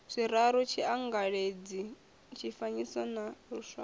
zwiraru tshiangaladzi tshifanyiso na luswayo